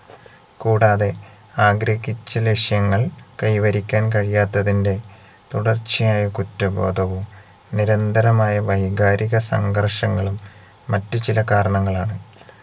കൂടാതെ ആഗ്രഹിച്ച ലക്ഷ്യങ്ങൾ കൈവരിക്കാൻ കഴിയാത്തതിന്റെ തുടർച്ചയായ കുറ്റബോധവും നിരന്തരമായ വൈകാരിക സംഘർഷങ്ങളും മറ്റു ചിലകാരണങ്ങളാണ്